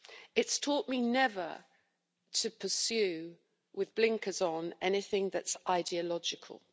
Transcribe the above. It's taught me never to pursue with blinkers on anything that's ideological.